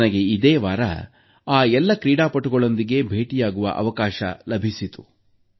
ನನಗೆ ಇದೇ ವಾರ ಆ ಎಲ್ಲ ಕ್ರೀಡಾಪಟುಗಳೊಂದಿಗೆ ಭೇಟಿಯಾಗುವ ಅವಕಾಶ ಲಭಿಸಿತು